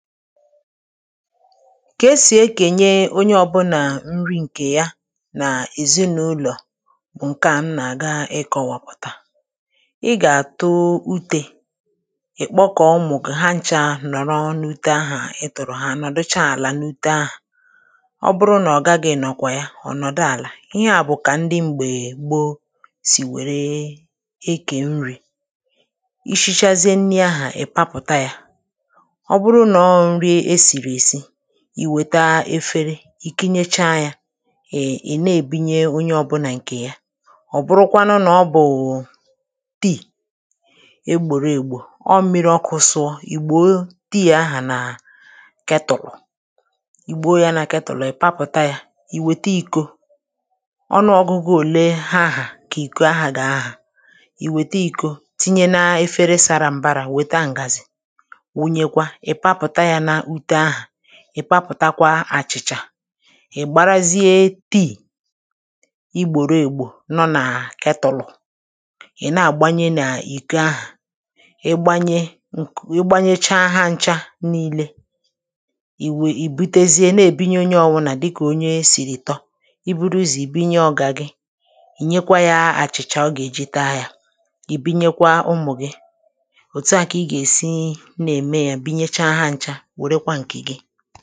ka esì ekènye onye ọbụnà nri ǹkè ya nà èzinàụlọ̀ ǹke à nà-àga ịkọ̇wȧpụ̀tà ị gà-àtụ utė ì kpọkọ̀ ụmụ̀ gị̀ ha ncha nọ̀rọ n’ute ahụ̀ ịtụ̀rụ̀ ha anọ̀dụcha àlà n’ute ahụ̀ ọ bụrụ nà ọ̀ gaghị̇ nọ̀kwà ya ọ̀nọ̀dụ̀ àlà ihe à bụ̀ kà ndị m̀gbè egbȯ sì wère ekè nri̇ ishichazie nni̇ ahụ̀ ì papụ̀ta yȧ i wėta efere ì kịnyecha ya è na-èbinye onye ọbụ̇nà ǹkè ya ọ̀ bụrụkwanụ nà ọ bụ̀ụ̀ tii egbòrò ègbò ọ mmiri ọkụ̇ sụọ ì gbo tii ahà nà ketòlù igbo ya nà ketòlù ị̀ papụ̀ta ya ì wète ìko ọnụ ọ̀gụ̀gụ òle ha ahà kà ìko ahà gà ahà ì wète ìko tinye na-efere sara mbara wètà m̀gazì ị̀ papụ̀takwa àchị̀chà ị̀ gbarazie tii igbòro ègbò nọ nà ketọlụ̀ ị̀ na-àgbanye n’ìko ahụ̀ igbanye, ǹkù igbanyecha ahȧ ncha nii̇lė ì wèì ì butezie na-èbinye onye ọwụlà dịkà onye sìrì tọ i buru zì binye ọ̀gà gị ì nyekwa yȧ àchị̀cha ọ gà-èje tȧ yȧ ì binyekwa ụmụ̀ gị òtu à kà ị gà-èsi na-ème ya o